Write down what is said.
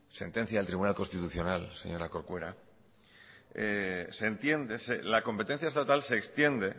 sentencia del tribunal constitucional señora corcuera se entiende la competencia estatal se extiende